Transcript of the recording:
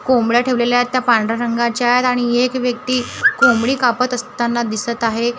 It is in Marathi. कोंबड्या ठेवलेल्या आहेत. त्या पांढऱ्या रंगाच्या आहेत आणि एक व्यक्ती कोंबडी कापत असताना दिसतं आहे.